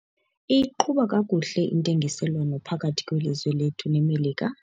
Iyiqhuba kakuhle intengiselwano phakathi kwelizwe lethu neMelika.